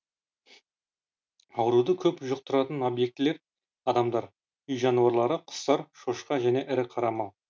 ауруды көп жұқтыратын объектілер адамдар үй жануарлары құстар шошқа және ірі қара мал